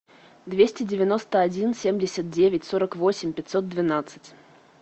двести девяносто один семьдесят девять сорок восемь пятьсот двенадцать